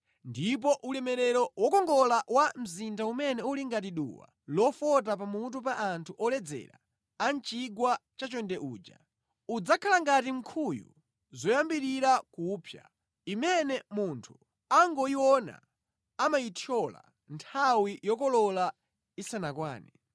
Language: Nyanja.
Ndipo ulemerero wokongola wa mzinda umene uli ngati duwa lofota pamutu pa anthu oledzera a mʼchigwa chachonde uja, udzakhala ngati nkhuyu yoyambirira kupsa imene munthu akangoyiona amayithyola nthawi yokolola isanakwane.